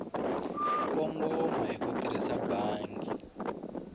kongoma hi ku tirhisa bangi